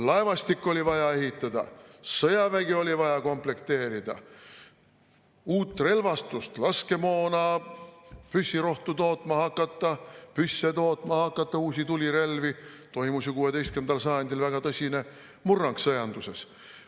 Laevastik oli vaja ehitada, sõjavägi oli vaja komplekteerida, uut relvastust, laskemoona, püssirohtu tootma hakata, püsse tootma hakata, uusi tulirelvi – toimus ju 16. sajandil väga tõsine murrang sõjanduses.